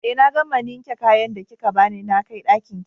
Eh na gama ninke kayan da kika bani nakai Ɗakinki